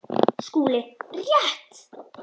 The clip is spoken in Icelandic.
SKÚLI: Rétt!